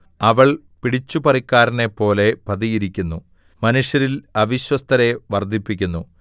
അവൾ പിടിച്ചുപറിക്കാരനെപ്പോലെ പതിയിരിക്കുന്നു മനുഷ്യരിൽ അവിശ്വസ്തരെ വർദ്ധിപ്പിക്കുന്നു